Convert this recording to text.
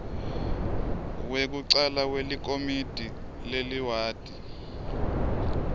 wekucala welikomidi leliwadi